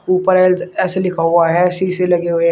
उपर ऐसे लिखा हुआ है शीशे लगे हुए हैं।